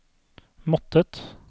måttet